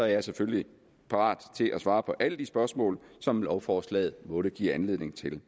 jeg selvfølgelig er parat til at svare på alle de spørgsmål som lovforslaget måtte give anledning til